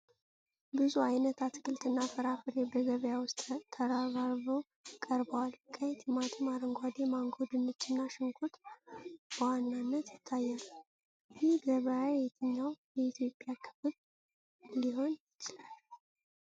ብዙ ዓይነት አትክልትና ፍራፍሬ በገበያ ውስጥ ተራርበው ቀርበዋል። ቀይ ቲማቲም፣ አረንጓዴ ማንጎ፣ ድንች እና ሽንኩርት በዋናነት ይታያሉ። ይህ ገበያ የትኛው የኢትዮጵያ ክፍል ሊሆን ይችላል?